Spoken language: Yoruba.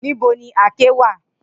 Nibo ni àáké wa?